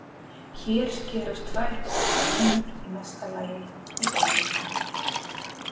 Hér skerast tvær ólíkar línur í mesta lagi í einum punkti.